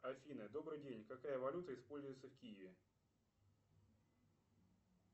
афина добрый день какая валюта используется в киеве